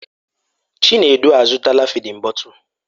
Chinedu azụtala fịdin bọtul.